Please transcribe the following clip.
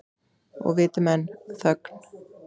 Og viti menn, þögn.